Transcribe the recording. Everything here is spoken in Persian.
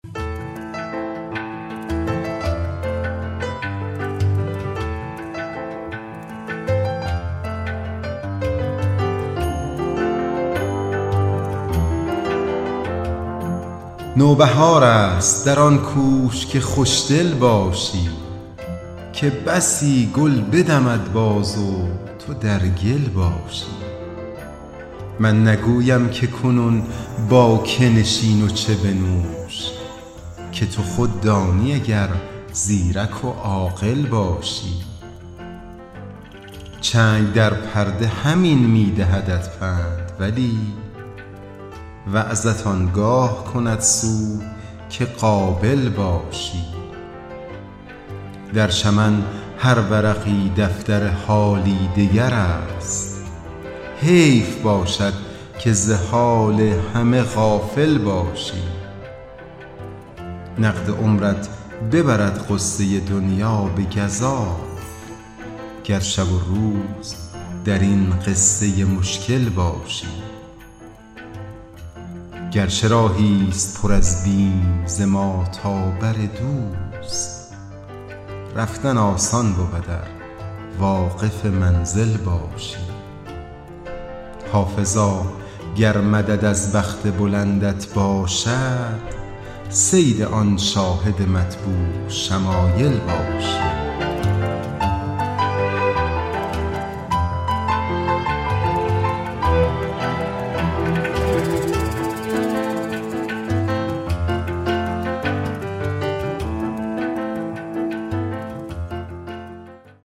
نوبهار است در آن کوش که خوش دل باشی که بسی گل بدمد باز و تو در گل باشی من نگویم که کنون با که نشین و چه بنوش که تو خود دانی اگر زیرک و عاقل باشی چنگ در پرده همین می دهدت پند ولی وعظت آن گاه کند سود که قابل باشی در چمن هر ورقی دفتر حالی دگر است حیف باشد که ز کار همه غافل باشی نقد عمرت ببرد غصه دنیا به گزاف گر شب و روز در این قصه مشکل باشی گر چه راهی ست پر از بیم ز ما تا بر دوست رفتن آسان بود ار واقف منزل باشی حافظا گر مدد از بخت بلندت باشد صید آن شاهد مطبوع شمایل باشی